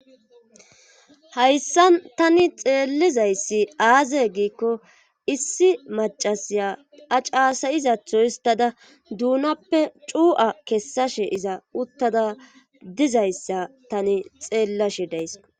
hayssan tani xeellizayssi aaze giikko issi macasiya acaasayizatho istada duunappe cu7a kessashe iza uttada dizayssa tani xeellashe days